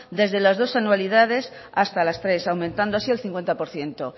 desde las dos anualidades hasta las tres aumentando así el cincuenta por ciento